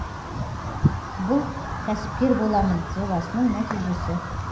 бұл кәсіпкер боламын жобасының нәтижесі